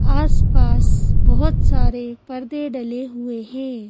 आसपास बहोत सारे पर्दे डले हुए हैं।